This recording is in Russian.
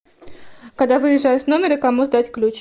когда выезжаешь с номера кому сдать ключ